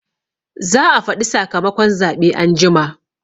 Za a faɗi sakamakon zaɓe anjima